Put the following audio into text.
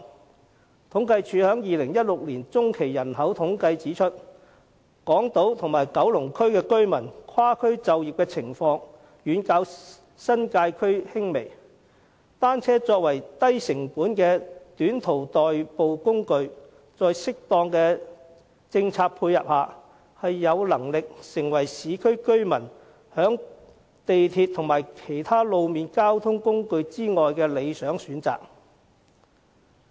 政府統計處2016年中期人口統計的結果指出，港島和九龍區居民跨區就業的情況遠較新界區輕微，作為低成本的短途代步工具，在適當的政策配合下，單車有能力成為市區居民在鐵路和其他路面交通工具之外的理想選擇。